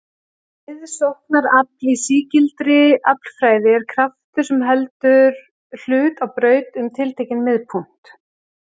Miðsóknarafl í sígildri aflfræði er kraftur sem heldur hlut á braut um tiltekinn miðpunkt.